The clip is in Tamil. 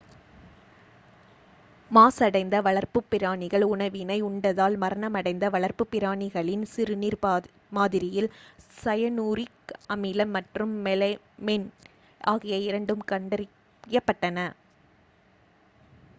மாசடைந்த வளர்ப்புப் பிராணிகள் உணவினை உண்டதால் மரணமடைந்த வளர்ப்புப் பிராணிகளின் சிறுநீர் மாதிரியில் சயனூரிக் அமிலம் மற்றும் மெலமைன் ஆகிய இரண்டும் கண்டறியப்பட்டன